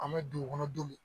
An bɛ dugukɔnɔ denw